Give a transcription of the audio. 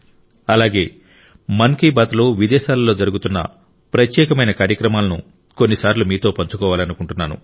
అలాగే మన్ కీ బాత్ లో విదేశాలలో జరుగుతున్న ప్రత్యేకమైన కార్యక్రమాలను కొన్నిసార్లు మీతో పంచుకోవాలనుకుంటున్నాను